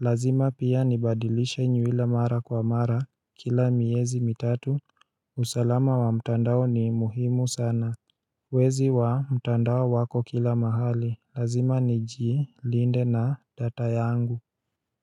Lazima pia nibadilishe nywila mara kwa mara kila miezi mitatu usalama wa mtandao ni muhimu sana Wezi wa mtandao wako kila mahali, lazima niji, linde na data yangu.